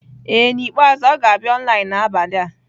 Ee N'ikpeazụ ọ ga-abịa online n'abalị a.